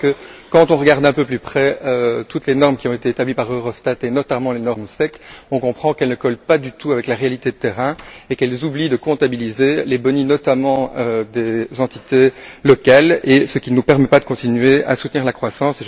En effet, lorsqu'on regarde d'un peu plus près toutes les normes qui ont été établies par Eurostat et notamment les normes SEC, on comprend qu'elles ne collent pas du tout avec la réalité de terrain et qu'elles oublient de comptabiliser les boni, notamment des entités locales, ce qui ne nous permet pas de continuer à soutenir la croissance.